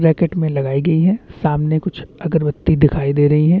Racket में लगाई गई है सामने कुछ अगरबत्ती दिखाई दे रही है।